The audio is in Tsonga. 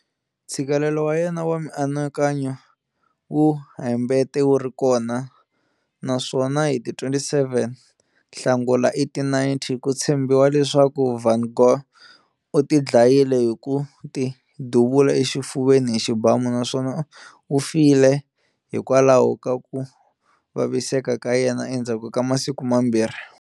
Ntshikelelo wa yena wa mianakanyo wu hambete wu ri kona, naswona hi ti 27 Nhlangula 1890, ku tshembiwa leswaku van Gogh u tidlayile hi ku ti duvula exifuveni hi xibamu, naswona u file hikwalaho ka ku vaviseka ka yena endzhaku ka masiku mambirhi.